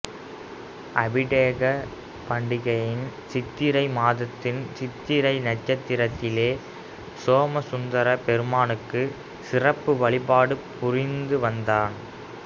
அபிடேக பாண்டியன் சித்திரை மாதத்து சித்திரை நட்சத்திரத்திலே சோமசுந்தரப் பெருமானுக்கு சிறப்பு வழிபாடு புரிந்து வந்தான்